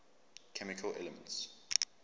chemical elements